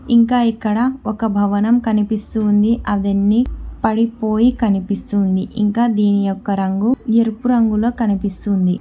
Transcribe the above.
ఇంకా ఇక్కడ ఒక భవనం కనిపిస్తుంది అవన్నీ పడిపోయి కనిపిస్తుంది ఇంకా దీని యొక్క రంగు ఎరుపు రంగులో కనిపిస్తుంది.